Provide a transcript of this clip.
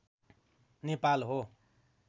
नेपाल हो